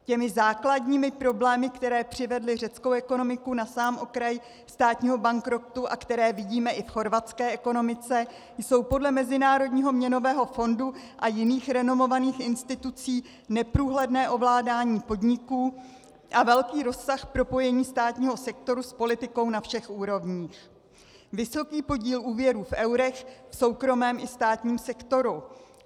Těmi základními problémy, které přivedly řeckou ekonomiku na sám okraj státního bankrotu a které vidíme i v chorvatské ekonomice, jsou podle Mezinárodního měnového fondu a jiných renomovaných institucí neprůhledné ovládání podniků a velký rozsah propojení státního sektoru s politikou na všech úrovních, vysoký podíl úvěrů v eurech v soukromém i státním sektoru.